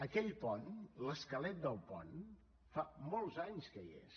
aquell pont l’esquelet del pont fa molts anys que hi és